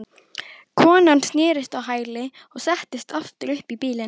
Konan snerist á hæli og settist aftur upp í bílinn.